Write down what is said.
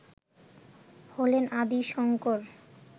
হলেন আদি শঙ্কর